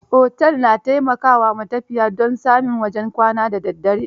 Otel, na taimaka wa matafiya don samin wajen kwana da daddare.